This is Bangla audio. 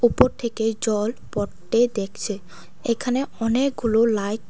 উপর থেকে জল পড়তে দেখছি এখানে অনেকগুলো লাইট ।